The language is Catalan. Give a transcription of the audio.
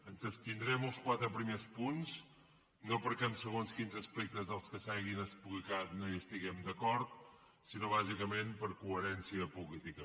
ens abstindrem als quatre primers punts no perquè en segons quins aspectes dels que s’hagin explicat no hi estiguem d’acord sinó bàsicament per coherència política